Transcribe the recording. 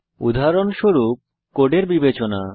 উদাহরণস্বরূপ কোডের বিবেচনা